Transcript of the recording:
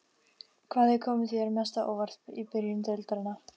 Hvað hefur komið þér mest á óvart í byrjun deildarinnar?